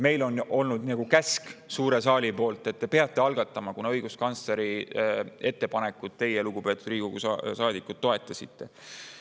Meile justkui käsk suures saalis, et te peate selle algatama, kuna õiguskantsleri ettepanekut teie, lugupeetud Riigikogu saadikud, toetasite.